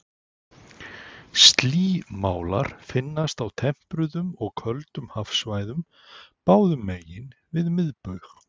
Slímálar finnast á tempruðum og köldum hafsvæðum báðum megin við miðbaug.